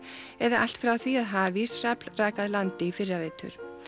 eða allt frá því að hafís rak að landi í fyrravetur